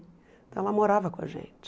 Então ela morava com a gente.